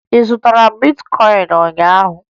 Azụtara m bitkọyịn ụnyaahụ